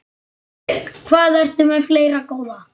Hvað ertu með fleira, góða?